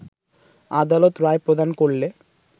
আদালত রায় প্রদান করলে